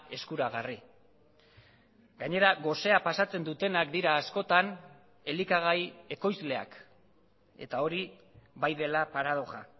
eskuragarri gainera gosea pasatzen dutenak dira askotan elikagai ekoizleak eta hori bai dela paradoxa